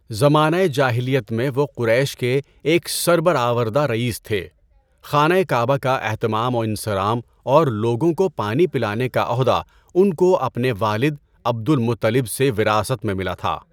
زمانہ جاہلیت میں وہ قریش کے ایک سربرآوردہ رئیس تھے، خانہ کعبہ کا اہتمام و انصرام اور لوگوں کو پانی پلانے کا عہدہ ان کو اپنے والد عبد المطلب سے وراثت میں ملا تھا۔